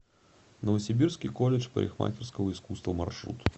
новосибирский колледж парикмахерского искусства маршрут